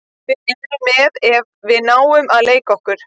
Við erum með ef við fáum að leika okkur.